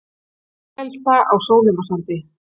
Bílvelta á Sólheimasandi